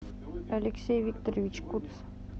алексей викторович куц